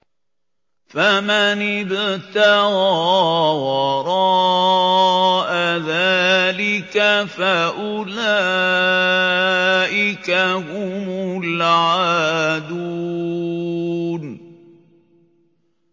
فَمَنِ ابْتَغَىٰ وَرَاءَ ذَٰلِكَ فَأُولَٰئِكَ هُمُ الْعَادُونَ